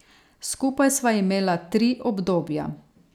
Skupaj sva imela tri obdobja.